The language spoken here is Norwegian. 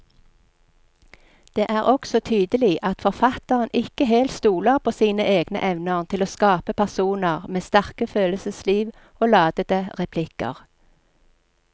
Det er også tydelig at forfatteren ikke helt stoler på sine egne evner til å skape personer med sterke følelsesliv og ladete replikker.